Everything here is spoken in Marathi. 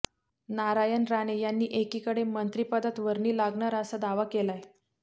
नारायण राणे यांनी एकीकडे मंत्रिपदात वर्णी लागणार असा दावा केलाय